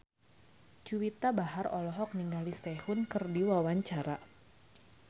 Juwita Bahar olohok ningali Sehun keur diwawancara